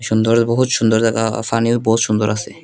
দূরে বহুৎ সুন্দর দেখা আর ফানিও বহুৎ সুন্দর আসে ।